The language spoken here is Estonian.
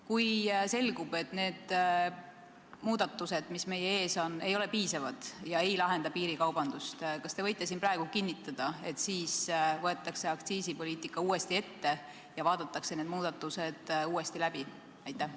Kui selgub, et muudatused, mis meie ees on, ei ole piisavad ega lahenda piirikaubanduse probleemi, kas siis võetakse aktsiisipoliitika uuesti ette ja vaadatakse need määrad uuesti läbi?